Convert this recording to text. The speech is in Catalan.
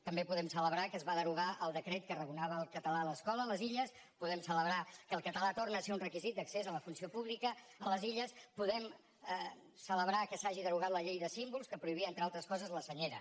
també podem celebrar que es va derogar el decret que arraconava el català a l’escola a les illes podem celebrar que el català torna a ser un requisit d’accés a la funció pública a les illes podem celebrar que s’hagi derogat la llei de símbols que prohibia entre altres coses la senyera